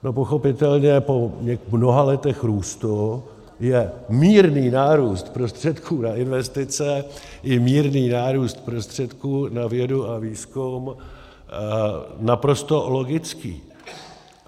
No pochopitelně po mnoha letech růstu je mírný nárůst prostředků na investice i mírný nárůst prostředků na vědu a výzkum naprosto logický.